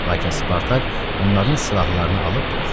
Lakin Spartak onların silahlarını alıb buraxdı.